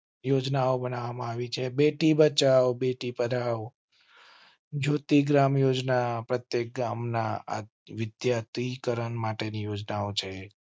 યોજના બનાવી છે. બેટી બચાઓ, બેટી પઢાઓ. જ્યોતિ ગ્રામ યોજના પ્રત્યેક ગામના વિદ્યાર્થી કરણ માટે ની યોજનાઓ છે